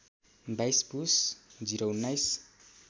२२ पुस ०१९